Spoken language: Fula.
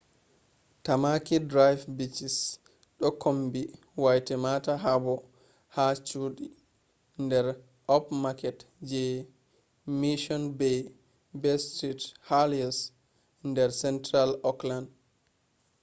tamaki drive beaches ɗo kombi waitemata harbour ha chuɗi der upmarket je mission bay be st heliers der central auckland